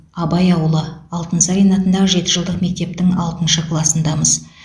абай ауылы алтынсарин атындағы жеті жылдық мектептің алтыншы класындамыз